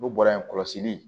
N'u bɔra yen kɔlɔsili